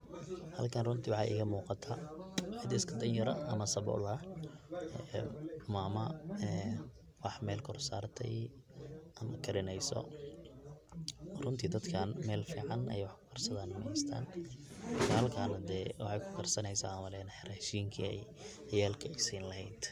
halkan runtii waxaa igamuqaata cid iska dan yar ama sabol ah, mama wax mel kor saratay, ama karineyso, runtii dadkan mel fican ay wax kukarsasdan mahaystan, halkan hade waxay kukarsaneysa an umaleya rashinki ciyalka ay sin lehayd